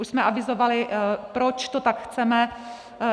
Už jsme avizovali, proč to tak chceme.